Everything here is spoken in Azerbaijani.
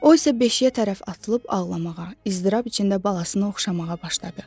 O isə beşiyə tərəf atılıb ağlamağa, iztirab içində balasını oxşamağa başladı.